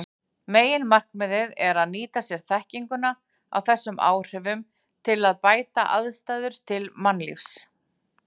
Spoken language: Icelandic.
Meginmarkmiðið er að nýta sér þekkinguna á þessum áhrifum til að bæta aðstæður til mannlífs.